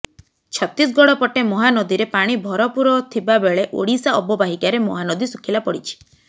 ଛତିଶଗଡ଼ ପଟେ ମହାନଦୀରେ ପାଣି ଭରପୂର ଥିବା ବେଳେ ଓଡ଼ିଶା ଅବବାହିକାରେ ମହାନଦୀ ଶୁଖିଲା ପଡ଼ିଛି